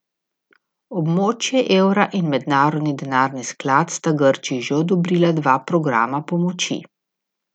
Območje evra in Mednarodni denarni sklad sta Grčiji že odobrila dva programa pomoči.